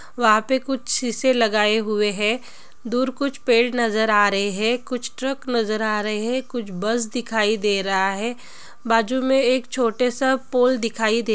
वहा पे कुछ शीशे लगाए हुवे हैदूर कुछ पेड़ नजर आ रहे है कुछ ट्रक नजर आ रहे है कुछ बस दिखाई दे रहा है बाजु मे एक छोटे सा पोल दिखाई दे।